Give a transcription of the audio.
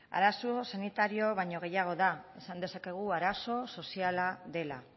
arazo sanitarioa baino gehiago da esan dezakegu arazo soziala dela